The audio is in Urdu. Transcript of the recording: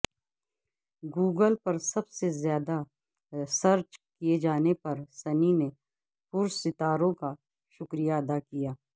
گوگل پر سب زیادہ سرچ کئے جانے پر سنی نے پرستاروں کا شکریہ ادا کیا